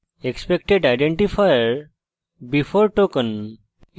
expected identifier before token